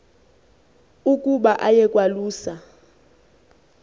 ukuba aye kwalusa